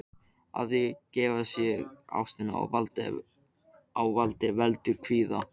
Að gefa sig ástinni á vald veldur kvíða.